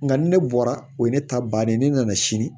Nka ni ne bɔra o ye ne ta bannen ye ne nana sini